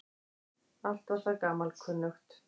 Allt var það gamalkunnugt.